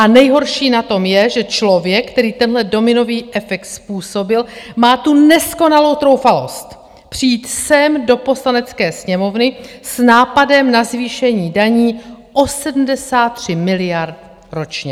A nejhorší na tom je, že člověk, který tenhle dominový efekt způsobil, má tu neskonalou troufalost přijít sem do Poslanecké sněmovny s nápadem na zvýšení daní o 73 miliard ročně.